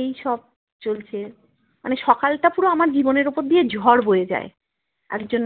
এই সব চলছে মানে সকালটা পুরো আমার জীবনের ওপর দিয়ে ঝড় বয়ে যায় একজন